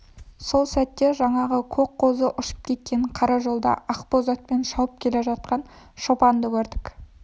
сол сәт жаңағы көк қозы ұшып жеткен қара жолда ақбоз атпен шауып келе жатқан шопанды көрдік